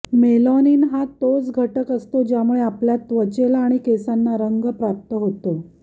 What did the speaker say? melanin हा तोच घटक असतो ज्यामुळे आपल्या त्वचेला आणि केसांना रंग प्राप्त होतो